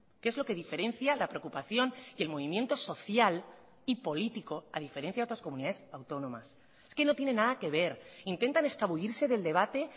que es lo que diferencia la preocupación y el movimiento social y político a diferencia de otras comunidades autónomas es que no tiene nada que ver intentan escabullirse del debate